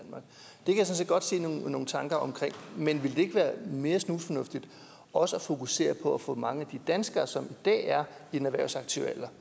jeg sådan set godt se er nogle tanker men ville det ikke være mere snusfornuftigt også at fokusere på at få mange af de danskere som i dag er i den erhvervsaktive alder